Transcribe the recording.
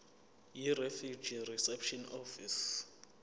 yirefugee reception office